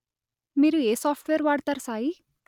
మీరు ఏ సాఫ్ట్‌వేర్ వాడతారు సాయీ